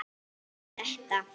og þetta